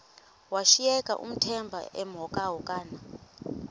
washiyeka uthemba emhokamhokana